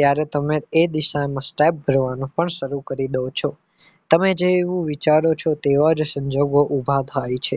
ત્યારે તમે એ દિશા માં step ભરવાનું પણ શરૂ કરી દો છો તમે જે એવું વિચારો છો તેવા જ સંજોગો ઉભા થાય છે